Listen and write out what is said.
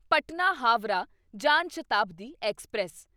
Patna Howrah Jan Shatabdi express